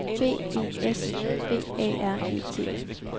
B E S V A R E T